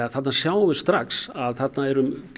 þarna sjáum við strax að þarna er